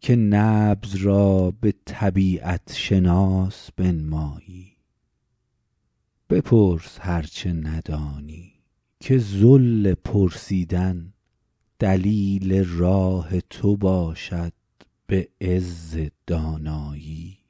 که نبض را به طبیعت شناس بنمایی بپرس هر چه ندانی که ذل پرسیدن دلیل راه تو باشد به عز دانایی